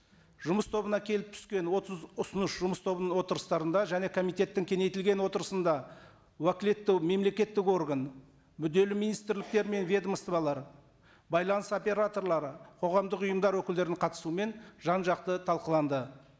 жұмыс тобына келіп түскен отыз ұсыныс жұмыс тобының отырыстарында және комитеттің кеңейтілген отырысында уәкілетті мемлекеттік орган мүдделі министрліктер мен ведомстволар байланыс операторлары қоғамдық ұйымдар өкілдерінің қатысуымен жан жақты талқыланды